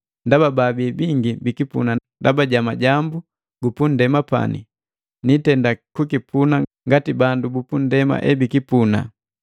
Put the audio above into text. Ndaba baabii bingi bikipuna ndaba ja majambu gupa ndema nanepani niitenda kukipuna ngati bandu bupundema ebikipuna.